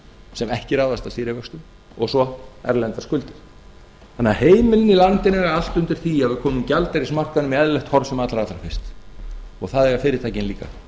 sem ekki ráðast af stýrivöxtum og svo erlendar skuldir þannig að heimilin í landinu eiga allt undir því að við komum gjaldeyrismarkaðnum í eðlilegt horf sem allra allra fyrst og það eiga fyrirtækin líka